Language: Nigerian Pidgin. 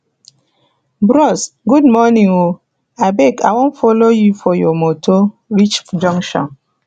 bros good morning o abeg i wan folo you for your motor reach junction